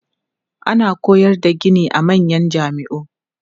Ana koyar da gini a manyan jami'u.